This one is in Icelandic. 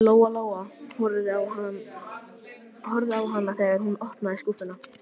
Lóa Lóa horfði á hana þegar hún opnaði skúffuna.